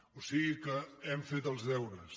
o sigui que hem fet els deures